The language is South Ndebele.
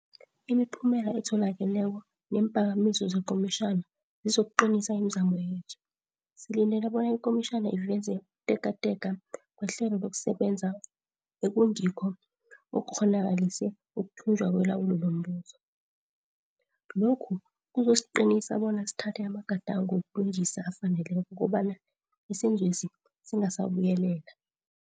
Imiphumela etholakeleko neemphakamiso zekomitjhana zizokuqinisa imizamo yethu. Silindele bona ikomitjhana iveze ukutekateka kwehlelo lokusebenza ekungikho okukghonakalise ukuthunjwa kwelawulo lombuso. Lokhu kuzosiqinisa bona sithathe amagadango wokulungisa afaneleko kobana isenzwesi singasabuyelela.